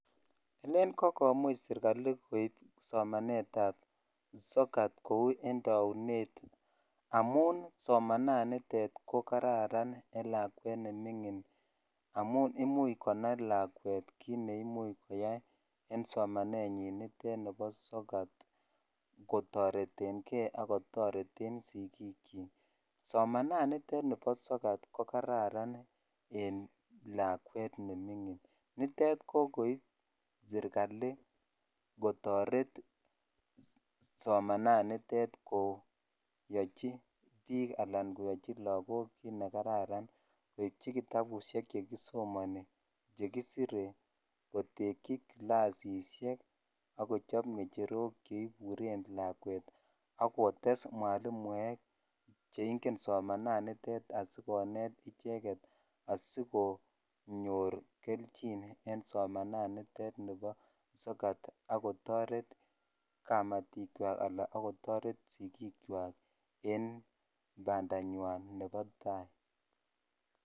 Alen kokomuch serigali koip somanetab sokat kou en taunet amun somananitet ko kararan en lakwet ne mingin amun imuch konai lakwet kit ne much koyai en somanetnyin nitet nebo sokat kotoretenge ak kotoreten sigikyik. Somananitet nebo sokat kokararan en lakwet ne mingin. Nitet kokoip sergali kotoret somananitet koyochi biik anan koyochi lagok koichi kitabusiek chekisomani, chekisire, kotekyi kilasisiek ak kochop ngecherok cheiburen lakwet ak kotes mwalimuek che ingen somananitet sikonet icheget asikonyor keljin en somananitet nebo sokat ak kotaret kamatikywak ana ak kotoret sigikywak en bandanywan nebo tai.